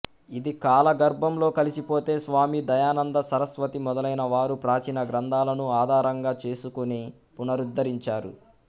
ఇది కాల గర్భంలో కలిసి పొతే స్వామి దయానంద సరస్వతి మొదలైన వారు ప్రాచీన గ్రంథాలను ఆధారంగా చేసుకొని పునరుద్ధరించారు